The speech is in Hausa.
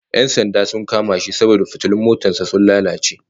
Yan sanda sun kama shi saboda fitilun motar sa sun lalace